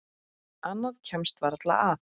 Annað kemst varla að.